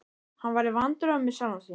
Hann var í vandræðum með sjálfan sig.